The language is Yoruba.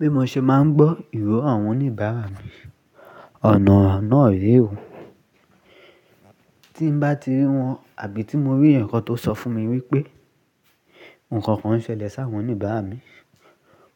Bí mo ṣe máa ń gbọ́ ìró àwọn oníbàárà mi, ọ̀nà náà rèé o. Tí n bá ti rí wọn àbí tí mo rí èèyàn kan tó sọ fún mi wípé ǹkankan ń ṣẹlẹ̀ sáwọn oníbàárà mi,